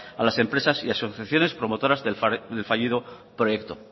a las empresas y asociaciones promotoras del fallido proyecto